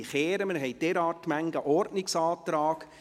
Wir haben nämlich derart viele Ordnungsanträge.